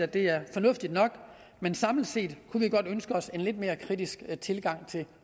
det er fornuftigt nok men samlet set kunne vi godt ønske os en lidt mere kritisk tilgang til